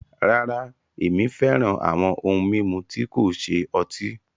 Rárá, ẹmi fẹ́ràn awọn ohun mimú tí kò ṣẹ ọ̀tí